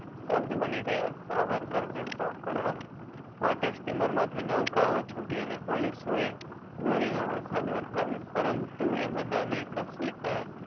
સ્તબ્ધ બની ગયા સાવરકર ને પકડવા માટે steamer માં થી નૌકા ઓ ચૂંટી અને police ઓ એ ગોળી નો વરસાદ વરસાવ્યો પરંતુ એ બધા ની કસીક